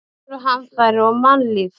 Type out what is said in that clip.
Náttúruhamfarir og mannlíf.